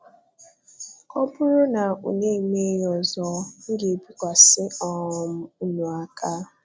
ọ buru na unu e mee ya ọzọ, m ga-ebikwasị um ụnụ aka.